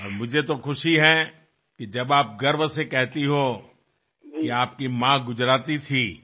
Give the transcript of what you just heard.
आणि मला फार आनंद होतो जेव्हा आपण अभिमानाने सांगता की आपल्या आई गुजराथी होत्या